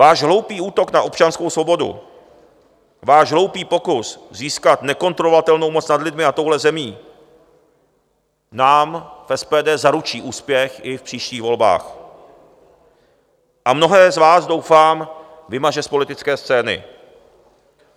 Váš hloupý útok na občanskou svobodu, váš hloupý pokus získat nekontrolovatelnou moc nad lidmi a touhle zemí nám v SPD zaručí úspěch i v příštích volbách a mnohé z vás, doufám, vymaže z politické scény.